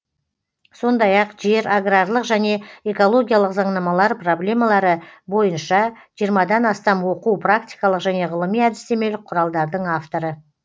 сондай ақ жер аграрлық және экологиялық заңнамалар проблемалары бойынша жиырмадан астам оқу практикалық және ғылыми әдістемелік құралдардың авторы